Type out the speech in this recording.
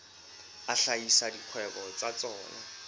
a hlahisa dikgwebo tsa tsona